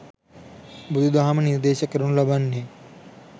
බුදුදහම නිර්දේශ කරනු ලබන්නේ